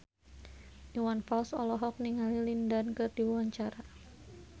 Iwan Fals olohok ningali Lin Dan keur diwawancara